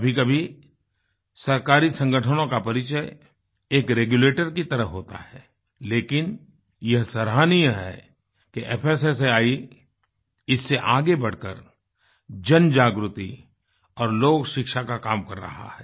कभीकभी सरकारी संगठनों का परिचय एक रेगुलेटर की तरह होता है लेकिन यह सराहनीय है कि fssaआई इससे आगे बढ़कर जनजागृति और लोकशिक्षा का काम कर रहा है